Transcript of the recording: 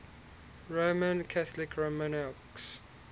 roman catholic monarchs